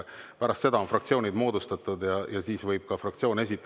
Pärast seda on fraktsioonid moodustatud ja siis võib ka fraktsioon esitada.